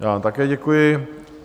Já vám také děkuji.